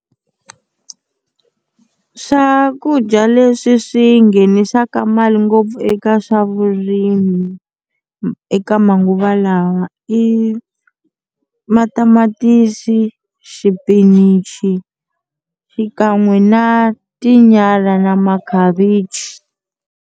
Swakudya leswi swi nghenisaka mali ngopfu eka swa vurimi eka manguva lawa i matamatisi, xipinichi xikan'we na tinyala na makhavichi.